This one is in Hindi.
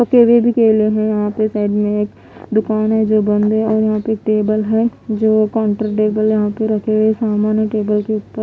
पके हुए भी केले है यहाँ पे साइड में एक दुकान है जो बंद है और यहाँ पे एक टेबल है जो यहाँ पे रखे हुए सामान है टेबल के ऊपर --